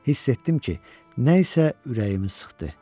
Hiss etdim ki, nə isə ürəyimi sıxdı.